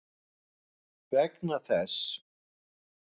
Vegna þess!